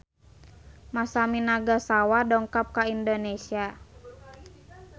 Masami Nagasawa dongkap ka Indonesia